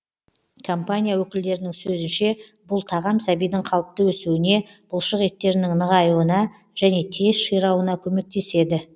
компания өкілдерінің сөзінше бұл тағам сәбидің қалыпты өсуіне бұлшық еттерінің нығаюына және тез ширауына көмектеседі